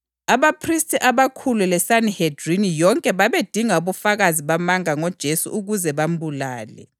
Abaphristi abakhulu leSanihedrini yonke babedinga ubufakazi bamanga ngoJesu ukuze bambulale.